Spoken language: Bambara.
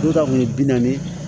Du dɔw kun ye bi naani ye